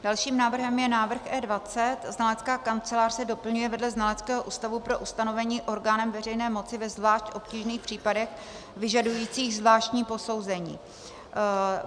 Dalším návrhem je návrh E20 - znalecká kancelář se doplňuje vedle znaleckého ústavu pro ustanovení orgánem veřejné moci ve zvlášť obtížných případech vyžadujících zvláštní posouzení.